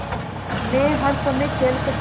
मै हर समय खेल सकती हूँ